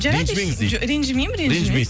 жарайды ренжімеңіз ренжімеймін ренжімейсіз